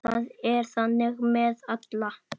Það er þannig með alla.